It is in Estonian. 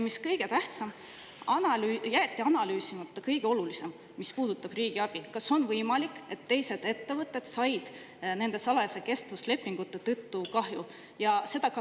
Kõige tähtsam on, et jäeti analüüsimata kõige olulisem, mis puudutab riigiabi: kas on võimalik, et teised ettevõtted said nende salajaste kestvuslepingute tõttu kahju?